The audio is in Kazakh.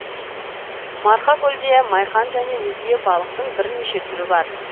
марқакөлде майқан және өзге балықтың бірнеше түрі бар